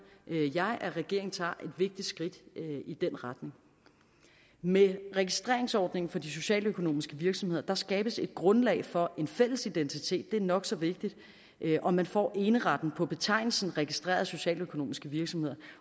jeg at regeringen tager et vigtigt skridt i den retning med registreringsordningen for de socialøkonomiske virksomheder skabes et grundlag for en fælles identitet det er nok så vigtigt og man får eneretten på betegnelsen registreret socialøkonomisk virksomhed